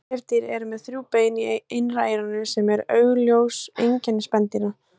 Nefdýr eru með þrjú bein í innra eyranu sem eru augljós einkenni spendýra.